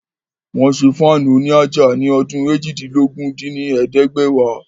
Wọ́n ṣé Fáànù òní àjà ní ọdún eéjìdínlógún dín ní ẹ̀ẹ́dẹ́gbẹ́wá